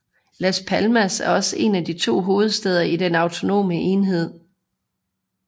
Las Palmas er også en af de to hovedsteder i den autonome enhed